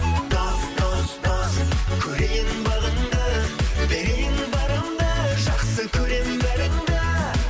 дос дос дос көрейін бағыңды берейін барымды жақсы көремін бәріңді